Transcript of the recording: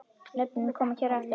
Nöfnin koma hér á eftir.